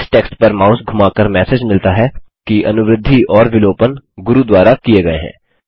इस टेक्स्ट पर माउस धुमाकर मैसेज मिलता है कि अनुवृद्धि और विलोपन गुरू द्वारा किये गये हैं